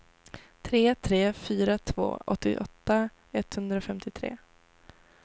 tre tre fyra två åttioåtta etthundrafemtiotre